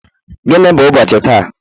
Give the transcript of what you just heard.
Gịnị bụ ụbọchị taa?